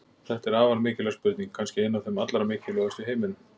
Þetta er afar mikilvæg spurning, kannski ein af þeim allra mikilvægustu í heiminum!